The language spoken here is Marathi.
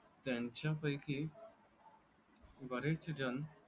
त्यांच्या पैकी. बरेच जण.